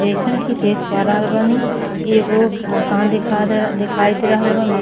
जइसन की देख प रहल बानी। एगो मकान दिखा दे दिखाई दे रहल बा। म